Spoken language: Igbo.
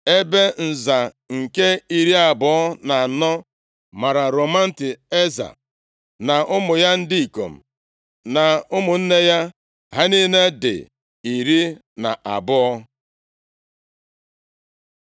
Ebe nza nke iri abụọ na anọ mara Romamti-Eza, na ụmụ ya ndị ikom na ụmụnne ya. Ha niile dị iri na abụọ (12).